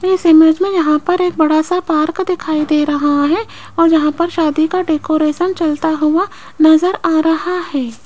इस इमेज में यहां पर है बड़ा सा पार्क दिखाई दे रहा है और यहां पर शादी का डेकोरेशन चलता हुआ नजर आ रहा है।